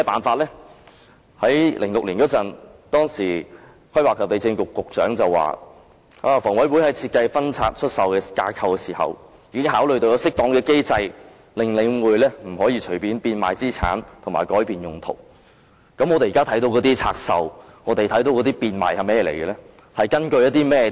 2006年，當時房屋及規劃地政局局長表示，房委會於設計分拆出售架構時已考慮有適當機制，令領匯不能隨便變賣資產和改變用途，那麼我們現時看到的拆售和變賣是甚麼呢？